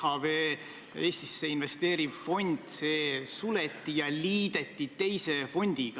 Austatud peaminister, kas see on tänases Eesti Vabariigis mingi uus reaalsus või on see ajutine katarsis?